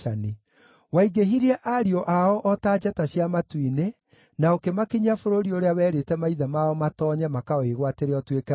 Waingĩhirie ariũ ao o ta njata cia matu-inĩ na ũkĩmakinyia bũrũri ũrĩa werĩte maithe mao matoonye makawĩgwatĩre ũtuĩke wao.